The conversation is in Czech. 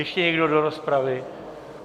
Ještě někdo do rozpravy?